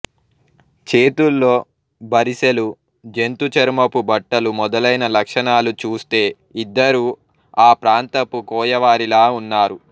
చేతుల్లో బరిసెలు జంతు చర్మపు బట్టలు మొదలైన లక్షణాలు చూస్తే ఇద్దరూ ఆ ప్రాంతపు కోయవారిలా ఉన్నారు